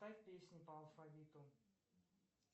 ставь песни по алфавиту